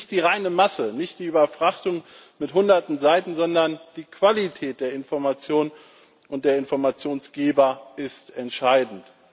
Nicht die reine Masse, nicht die Überfrachtung mit Hunderten Seiten, sondern die Qualität der Information und der Informationsgeber ist entscheidend.